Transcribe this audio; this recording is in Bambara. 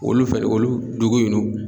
Olu fɛnɛ olu dugu in n'u